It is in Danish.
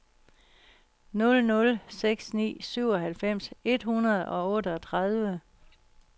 nul nul seks ni syvoghalvfems et hundrede og otteogtredive